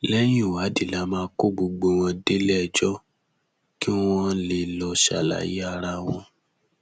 lẹyìn ìwádìí la máa kó gbogbo wọn déléẹjọ kí wọn lè lọọ ṣàlàyé ara wọn